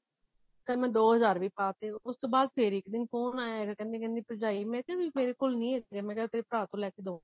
ਫ਼ੇਰ ਮੈਂ ਦੀ ਹਜ਼ਾਰ ਵੀ ਪਾ ਤੇ ਉਸ ਤੋਂ ਬਾਅਦ ਫ਼ਰ ਇੱਕ ਦਿਨ phone ਆਇਆ ਕਹਿੰਦੀ ਭਰਜਾਈ ਮੈਂ ਕਿਹਾ ਵੀ ਮੇਰੇ ਕੋਲ ਨਹੀਂ ਹੈਗੇ ਮੈਂ ਕਿਹਾ ਤੇਰੇ ਭਰਾ ਤੋਂ ਲੈਕੇ ਦੂਂਗੀ